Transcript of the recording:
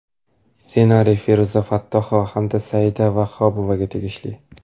Ssenariy Feruza Fattohova hamda Saida Vahobovaga tegishli.